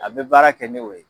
A be baara kɛ ni o ye